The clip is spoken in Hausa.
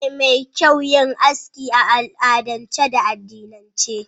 Abu ne mai kyau yin aski a al'adance da addinance.